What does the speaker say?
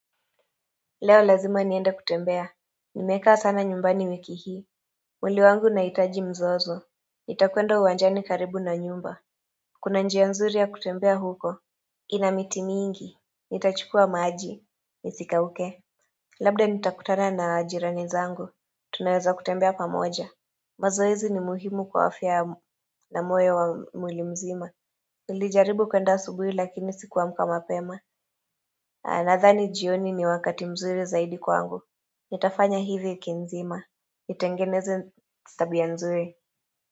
Leo lazima niende kutembea Nimekaa sana nyumbani wiki hii mwili wangu unahitaji mzozo Nitakwenda uwanjani karibu na nyumba Kuna njia nzuri ya kutembea huko ina miti mingi Nitachukua maji Nisikauke Labda nitakutana na jirani zangu Tunaweza kutembea pamoja mazoezi ni muhimu kwa afya na moyo wa mwili mzima Nilijaribu kuenda asubuhi lakini sikuamka mapema nadhani jioni ni wakati mzuri zaidi kwangu Nitafanya hii wiki nzima, nitengeneze tabia ya nzuri.